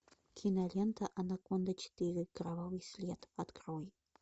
кинолента анаконда четыре кровавый след открой